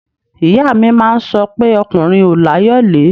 Ìyá mi máa ń sọ pé ọkùnrin ò láyọ̀lé